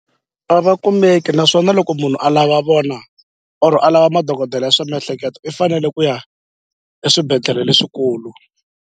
A va kumeki naswona loko munhu alava vona or a lava madokodela ya swa miehleketo i fanele ku ya eswibedhlele leswikulu.